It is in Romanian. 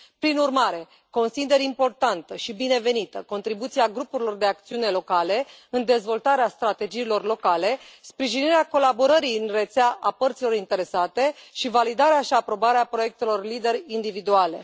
Prin urmare, consider importantă și binevenită contribuția grupurilor de acțiune locale în dezvoltarea strategiilor locale, sprijinirea colaborării în rețea a părților interesate și validarea și aprobarea proiectelor LEADER individuale.